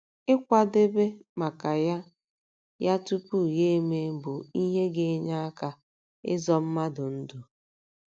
Ịkwadebe maka ya ya tupu ya emee bụ ihe ga - enye aka ịzọ mmadụ ndụ.